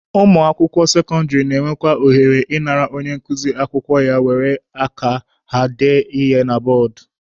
Ụmụakwụkwọ sekọndịrị na-enwe ohere ị nara onye nkuzi akwụkwọ ya were aka ha dee ya na bọọdụ.